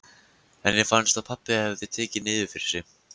Henni fannst að pabbi hefði tekið niður fyrir sig.